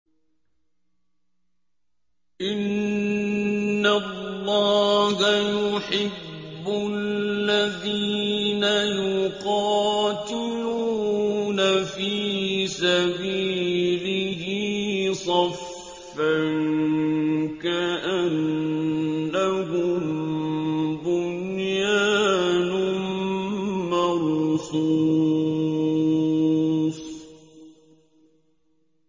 إِنَّ اللَّهَ يُحِبُّ الَّذِينَ يُقَاتِلُونَ فِي سَبِيلِهِ صَفًّا كَأَنَّهُم بُنْيَانٌ مَّرْصُوصٌ